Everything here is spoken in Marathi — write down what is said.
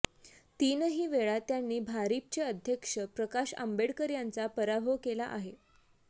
तीनही वेळा त्यांनी भारिपचे अध्यक्ष प्रकाश आंबेडकर यांचा पराभव केला आहे